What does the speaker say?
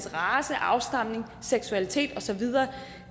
race afstamning seksualitet og så videre